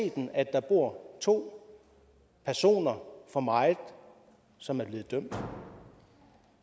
der bor to personer for meget som er blevet dømt